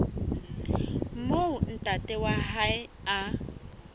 moo ntate wa hae a